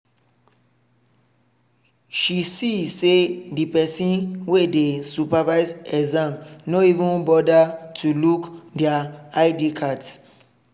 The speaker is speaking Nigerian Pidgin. she see say the person wey dey supervise exam no even bother to look their id cards.